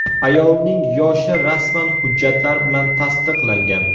Ayolning yoshi rasman hujjatlar bilan tasdiqlangan.